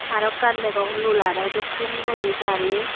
aro ekkan degong lularo dokken guri gari.